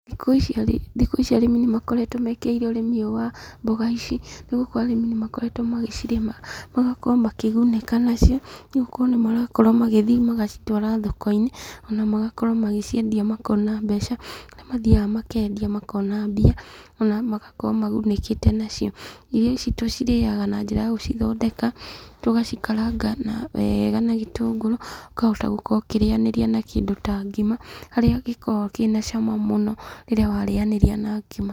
Thikũ ici arĩmi nĩ makoretwo mekĩrĩire ũrĩmi ũyũ wa mboga ici, nĩ gũkorwo arĩmi nĩmakoretwo magĩcirĩma, magakorwo makĩgunĩka nacio, nĩ gũkorwo nĩmarakorwo magĩthiĩ magacitwara thoko-inĩ, ona magakorwo magĩciendia makona mbeca. Nĩ mathiaga makendia makona mbia, ona magakorwo magunĩkĩte nacio. Irio ici tucirĩaga na njĩra ya gũcithondeka, tugacikaranga wega na gĩtũngũrũ, ũkahota gukorwo ũkĩrĩanĩrĩa na kĩndũ ta ngima, haria gĩkoragwo kĩna ciama mũno rĩrĩa warĩanĩria na ngima.